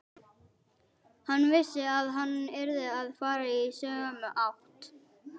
Hann vissi að hann yrði að fara í sömu átt.